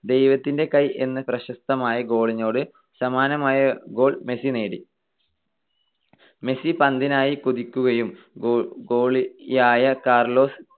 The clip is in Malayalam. ദൈവത്തിന്റെ കൈ എന്ന് പ്രശസ്തമായ goal നോട് സമാനമായ goal l മെസ്സി നേടി. മെസ്സി പന്തിനായി കുതിക്കുകയും ഗോളിയായ കാർലോസ്